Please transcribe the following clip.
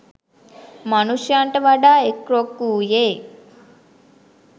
මනුෂ්‍යයන්ට වඩා එක් රොක් වූයේ